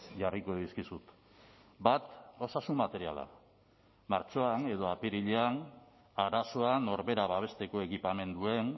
jarriko dizkizut bat osasun materiala martxoan edo apirilean arazoa norbera babesteko ekipamenduen